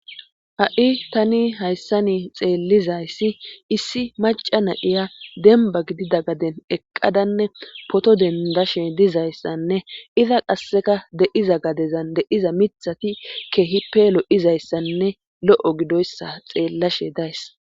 Ha'i tani hayssani xeellizayssi issi maca na'iya demba gidida gaden eqqadanne poto dendashe dizayssanne iza qasseka deiza gadezan de'iza mithati kehi pe lo'izayssanne lo'o gidoyssa xeellashe days